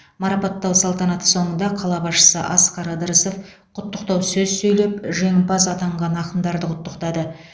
марапаттау салтанаты соңында қала басшысы асқар ыдырысов құттықтау сөз сөйлеп жеңімпаз атанған ақындарды құттықтады